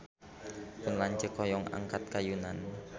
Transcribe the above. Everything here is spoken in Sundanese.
Pun lanceuk hoyong angkat ka Yunan